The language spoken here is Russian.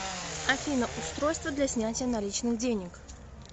афина устройство для снятия наличных денег